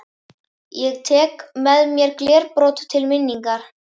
Ég tek með mér glerbrot til minningar.